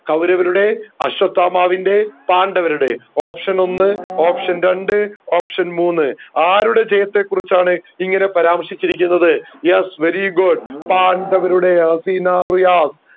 കൗരവരുടെ അശ്വത്ഥാമാവിൻറെ പാണ്ഡവരുടെ option ഒന്ന് option രണ്ട് option മൂന്ന് ആരുടെ ജയത്തെ കുറിച്ചാണ് ഇങ്ങനെ പരാമർശിച്ചിരിക്കുന്നത് yes very good പാണ്ഡവരുടെ അസീന റിയാസ്